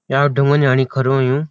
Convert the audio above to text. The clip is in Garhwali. या ढुंगा नि आणिखडू हुयुं।